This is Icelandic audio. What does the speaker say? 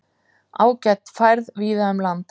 Ágæt færð víða um land